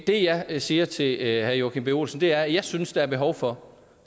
det jeg jeg siger til herre joachim b olsen er at jeg synes der er behov for